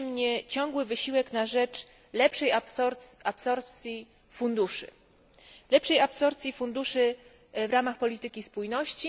Cieszy mnie ciągły wysiłek na rzecz lepszej absorpcji funduszy, lepszej absorpcji funduszy w ramach polityki spójności.